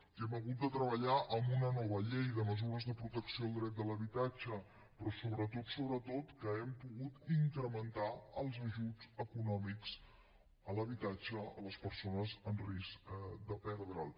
i hem hagut de treballar en una nova llei de mesures de protecció al dret de l’habitatge però sobretot sobretot que hem pogut incrementar els ajuts econòmics a l’habitatge a les persones en risc de perdre’l